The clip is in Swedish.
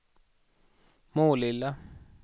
Målilla